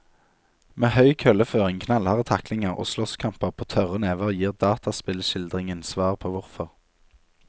Med høy kølleføring, knallharde taklinger og slåsskamper på tørre never gir dataspillskildringen svar på hvorfor.